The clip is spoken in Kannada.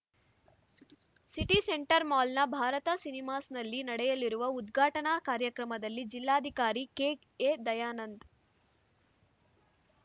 ಸಿಟಿ ಸೆಂಟರ್‌ ಮಾಲ್‌ನ ಭಾರತ್‌ ಸಿನಿಮಾಸ್‌ನಲ್ಲಿ ನಡೆಯಲಿರುವ ಉದ್ಘಾಟನಾ ಕಾರ್ಯಕ್ರಮದಲ್ಲಿ ಜಿಲ್ಲಾಧಿಕಾರಿ ಕೆಎ ದಯಾನಂದ್‌